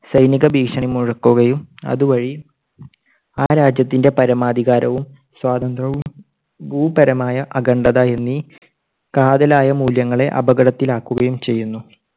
സൈനിക ഭീഷണി മുഴക്കുകയും അതുവഴി ആ രാജ്യത്തിന്റെ പരമാധികാരവും സ്വാതന്ത്ര്യവും ഭൂപരമായ അഖണ്ഡത എന്നീ കാതലായ മൂല്യങ്ങളെ അപകടത്തിലാക്കുകയും ചെയ്യുന്നു.